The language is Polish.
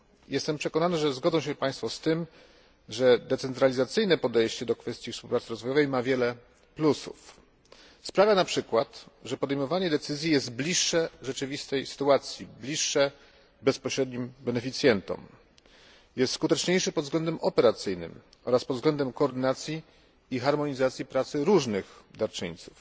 Jestem przekonany, że zgodzą się Państwo z tym, że decentralizacyjne podejście do kwestii współpracy rozwojowej ma wiele plusów sprawia np., że podejmowanie decyzji jest bliższe rzeczywistej sytuacji, bliższe bezpośrednim beneficjentom, jest skuteczniejsze pod względem operacyjnym oraz pod względem koordynacji i harmonizacji pracy różnych darczyńców.